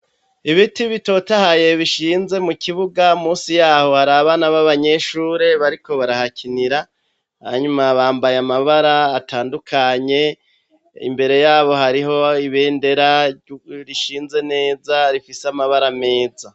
Ibiti bitotahaye bishinze mu kibuga, musi yaho hari abana babanyeshure bariko barahakinira, hanyuma bambaye amabara atandukanye, imbere yabo hariho ibendera rishinze neza rifise amabara meza.